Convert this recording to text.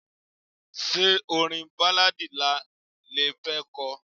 Ṣé orin Báláadì náà le fẹ́ ko?